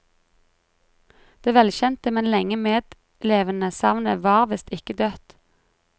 Det velkjente, men lenge medlevede savnet var visst ikke dødt.